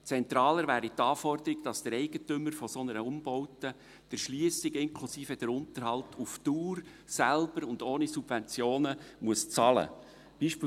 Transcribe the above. Zentraler wäre die Anforderung, dass der Eigentümer einer solchen Umbaute die Erschliessung inklusive Unterhalt auf Dauer selbst und ohne Subventionen bezahlen muss.